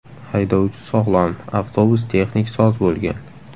Haydovchi sog‘lom, avtobus texnik soz bo‘lgan.